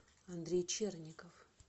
андрей черников